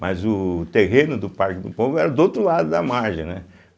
Mas o terreno do Parque do Povo era do outro lado da margem, né.